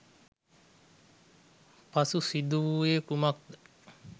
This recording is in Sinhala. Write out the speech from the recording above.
පසු සිදු වූයේ කුමක්ද?